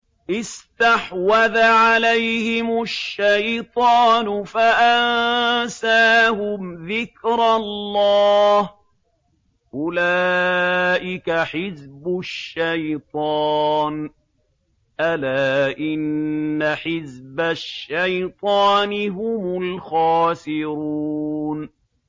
اسْتَحْوَذَ عَلَيْهِمُ الشَّيْطَانُ فَأَنسَاهُمْ ذِكْرَ اللَّهِ ۚ أُولَٰئِكَ حِزْبُ الشَّيْطَانِ ۚ أَلَا إِنَّ حِزْبَ الشَّيْطَانِ هُمُ الْخَاسِرُونَ